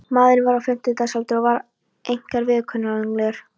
Maðurinn var á fimmtugsaldri og var einkar viðkunnanlegur.